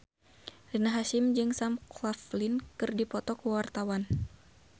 Rina Hasyim jeung Sam Claflin keur dipoto ku wartawan